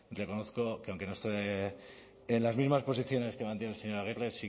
reconozco que aunque no esté en las mismas posiciones que mantiene el señor aguirre